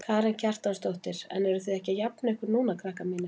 Karen Kjartansdóttir: En eruð þið ekki að jafna ykkur núna krakkar mínir?